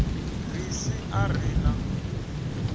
ri si a ri na